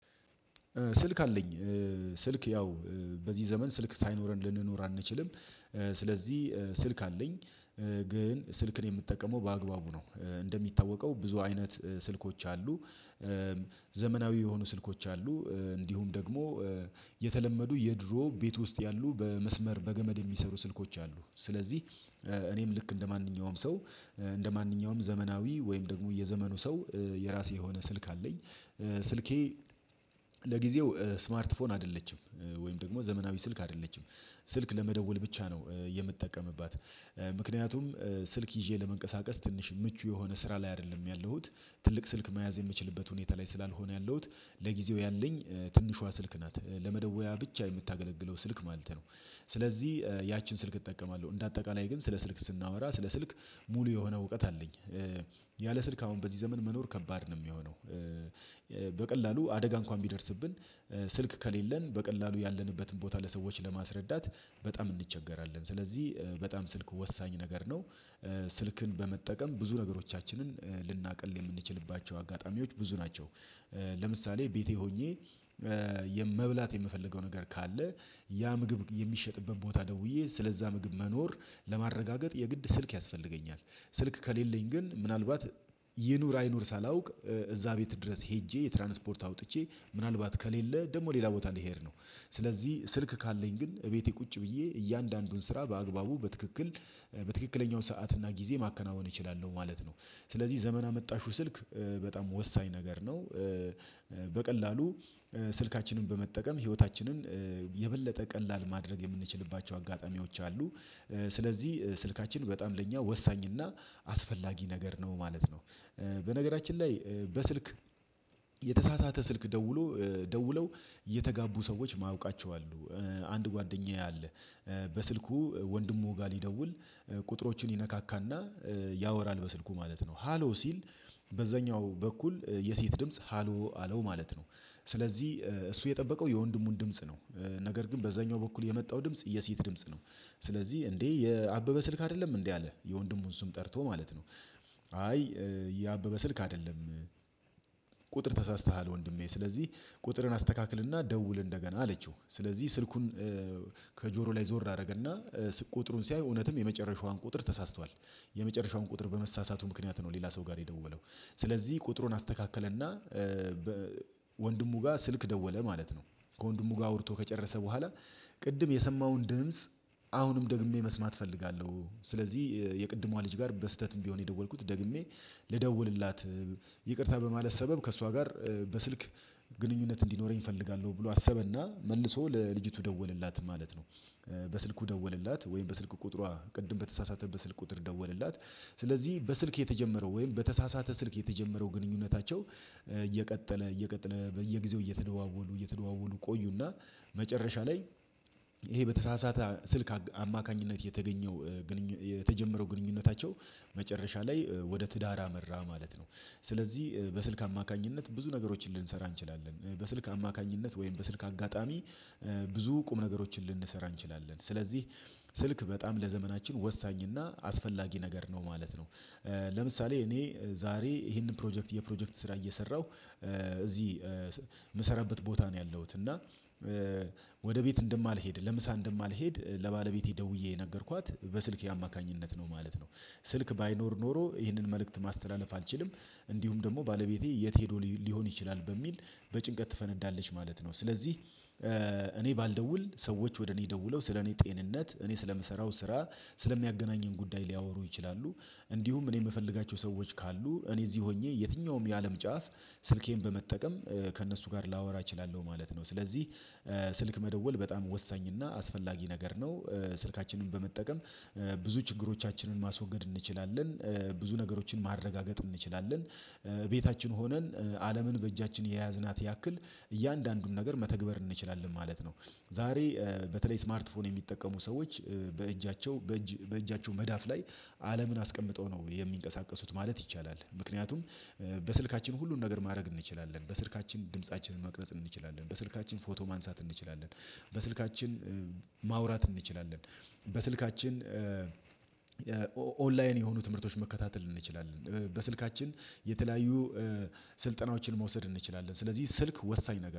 ስልክ አለኝ ስልክ ያው በዚህ ዘመን ስልክ ሳይኖረን ልንኖር አንችልም። ስለዚህ ስልክ አለኝ። ግን ስልክን የምትጠቀመው በአግባቡ ነው። እንደሚታወቀው ብዙ አይነት ስልኮች አሉ። ዘመናዊ የሆኑ ስልኮች አሉ እንዲሁም ደግሞ የተለመዱ የድሮ ቤት ውስጥ ያሉ በመስመር በገመድ የሚሰሩ ስልኮች አሉ። ስለዚህ እኔም ልክ እንደማንኛውም ሰው እንደማንኛውም ዘመናዊ ወይም ደግሞ የዘመኑ ሰው የራሴ የሆነ ስልክ አለኝ። ስልኬ ለጊዜው ስማርት ፎን አይደለችም ወይም ደግሞ ዘመናዊ ስልክ አይደለችም። ስልክ ለመደወል ብቻ ነው የምትጠቀምባት ምክንያቱም ስልክ ይዤ ለመንቀሳቀስ ትንሽ ምቹ የሆነ ስራ ላይ አይደለም ያለሁት ትልቅ ስልክ መያዝ የምችልበት ሁኔታ ላይ ስላልሆነ ያለውት ለጊዜው ያለኝ ትንሿ ስልክ ናት ለመደወያ ብቻ የምታገለግለው ስልክ ማለት ነው። ስለዚህ ያችን ስልክ እጠቀማለሁ እንደ አጠቃላይ ግን ስለ ስልክ ስናወራ ስለ ስልክ ሙሉ የሆነ እውቀት አለኝ። ያለ ስልክ አሁን በዚህ ዘመን መኖር ከባድ ነው የሚሆነው። በቀላሉ አደጋ እንኳን ቢደርስብን ስልክ ከሌለን በቀላሉ ያለንበትን ቦታ ለሰዎች ለማስረዳት በጣም እንቸገራለን። ስለዚህ በጣም ስልክ ወሳኝ ነገር ነው። ስልክን በመጠቀም ብዙ ነገሮቻችንን ልናቅል የምንችልባቸው አጋጣሚዎች ብዙ ናቸው። ለምሳሌ ቤቴ ሆኜ የመብላት የምፈልገው ነገር ካለ ያ ምግብ የሚሸጥበት ቦታ ደውዬ ስለዛ ምግብ መኖር ለማረጋገጥ የግድ ስልክ ያስፈልገኛል። ስልክ ከሌለኝ ግን ምናልባት ይኑር አይኑር ሳላውቅ እዛ ቤት ድረስ ሄጄ የትራንስፖርት አውጥቼ ምናልባት ከሌለ ደግሞ ሌላ ቦታ ልሄድ ነው። ስለዚህ ስልክ ካለኝ ግን እቤቴ ቁጭ ብዬ እያንዳንዱን ስራ በአግባቡ በትክክል በትክክለኛው ሰዓት እና ጊዜ ማከናወን እችላለሁ ማለት ነው። ስለዚህ ዘመን አመጣሹ ስልክ በጣም ወሳኝ ነገር ነው። በቀላሉ ስልካችንን በመጠቀም ህይወታችንን የበለጠ ቀላል ማድረግ የምንችልባቸው አጋጣሚዎች አሉ። ስለዚህ ስልካችን በጣም ለእኛ ወሳኝና አስፈላጊ ነገር ነው ማለት ነው። በነገራችን ላይ በስልክ የተሳሳተ ስልክ ደውሎ ደውለው እየተጋቡ ሰዎች ማውቃቸው አሉ። አንድ ጓደኛዬ አለ። በስልኩ ወንድሙ ጋር ሊደውል ቁጥሮችን ይነካካና ያወራል በስልኩ ማለት ነው ሃሎ ሲል በዛኛው በኩል የሴት ድምጽ ሃሎ አለው ማለት ነው። ስለዚህ እሱ የጠበቀው የወንድሙን ድምጽ ነው። ነገር ግን በዛኛው በኩል የመጣው ድምጽ የሴት ድምጽ ነው። ስለዚህ እንዴ የአበበ ስልክ አይደለም እንዴ አለ የወንድሙን ስም ጠርቶ ማለት ነው። አይ ያበበ ስልክ አይደለም። ቁጥር ተሳስተሃል ወንድሜ ስለዚህ ቁጥርን አስተካክልና ደውል እንደገና አለችው። ስለዚህ ስልኩን ከጆሮ ላይ ዞር አደረገና ቁጥሩን ሲያይ እውነትም የመጨረሻዋን ቁጥር ተሳስቷል። የመጨረሻውን ቁጥር በመሳሳቱ ምክንያት ነው ሌላ ሰው ጋር የደወለው ስለዚህ ቁጥሩን አስተካከለና ወንድሙ ጋር ስልክ ደወለ ማለት ነው። ከወንድሙ ጋር አውርቶ ከጨረሰ በኋላ ቅድም የሰማውን ድምጽ አሁንም ደግሜ መስማት እፈልጋለሁ። ስለዚህ የቅድሟ ልጅ ጋር በስህተትም ቢሆን የደወልኩት ደግሜ ልደዉልላት ይቅርታ በማለት ሰበብ ከእሷ ጋር በስልክ ግንኙነት እንዲኖረኝ እፈልጋለሁ ብሎ አሰበና መልሶ ለልጅቱ ደወለላት ማለት ነው። በስልኩ ደወለላት ወይም በስልክ ቁጥሯ ቅድም በተሳሳተበት ስልክ ቁጥር ደወለላት። ስለዚህ በስልክ የተጀመረው ወይም በተሳሳተ ስልክ የተጀመረው ግንኙነታቸው እየቀጠለ እየቀጠለ በየጊዜው እየተደዋወሉ እየተደዋወሉ ቆዩና መጨረሻ ላይ ይሄ በተሳሳተ ስልክ አማካኝነት የተገኘው ግንኙነት የተጀመረው ግንኙነታቸው መጨረሻ ላይ ወደ ትዳር አመራ ማለት ነው። ስለዚህ በስልክ አማካኝነት ብዙ ነገሮችን ልንሰራ እንችላለን በስልክ አማካኝነት ወይም በስልክ አጋጣሚ ብዙ ቁም ነገሮችን ልንሰራ እንችላለን። ስለዚህ ስልክ በጣም ለዘመናችን ወሳኝና እና አስፈላጊ ነገር ነው ማለት ነው። ለምሳሌ እኔ ዛሬ ይሄንን ፕሮጀክት የፕሮጀክት ስራ እየሰራሁ እዚህ ምሰራበት ቦታ ነው ያለሁት እና ወደ ቤት እንደማልሄድ ለምሳ እንደማልሄድ ለባለቤቴ ደውዬ ነገርኳት በስልክ የአማካኝነት ነው ማለት ነው። ስልክ ባይኖር ኖሮ ይህንን መልእክት ማስተላለፍ አልችልም። እንዲሁም ደግሞ ባለቤቴ የት ሄዶ ሊሆን ይችላል በሚል በጭንቀት ትፈነዳለች ማለት ነው። ስለዚህ እኔ ባልደውል ሰዎች ወደ እኔ ደውለው ስለ እኔ ጤንነት እኔ ስለምሰራው ስራ ስለሚያገናኘን ጉዳይ ሊያወሩ ይችላሉ። እንዲሁም እኔ የምፈልጋቸው ሰዎች ካሉ እኔ እዚህ ሆኜ የትኛውም የአለም ጫፍ ስልኬን በመጠቀም ከእነሱ ጋር ላወራ እችላለሁ ማለት ነው። ስለዚህ ስልክ መደወል በጣም ወሳኝና አስፈላጊ ነገር ነው። ስልካችንን በመጠቀም ብዙ ችግሮቻችንን ማስወገድ እንችላለን። ብዙ ነገሮችን ማረጋገጥ እንችላለን። ቤታችን ሆነን አለምን በእጃችን የያዝናት ያክል እያንዳንዱን ነገር መተግበር እንችላለን ማለት ነው። ዛሬ በተለይ ስማርት ፎን የሚጠቀሙ ሰዎች በእጃቸው በእጃቸው መዳፍ ላይ አለምን አስቀምጠው ነው የሚንቀሳቀሱት ማለት ይቻላል። ምክንያቱም በስልካችን ሁሉን ነገር ማድረግ እንችላለን በስልካችን ድምፃችንን መቅረጽ እንችላለን በስልካችን ፎቶ ማንሳት እንችላለን። በስልካችን ማውራት እንችላለን። በስልካችን ኦንላይን የሆኑ ትምህርቶች መከታተል እንችላለን። በስልካችን የተለያዩ ስልጠናዎችን መውሰድ እንችላለን። ስለዚህ ስልክ ወሳኝ ነገር